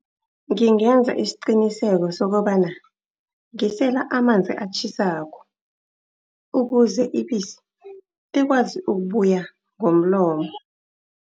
Ngingenza isiqiniseko sokobana ngisela amanzi atjhisako, ukuze ibisi likwazi ukubuya ngomlomo.